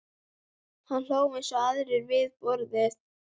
Hann hló eins og aðrir við borðið.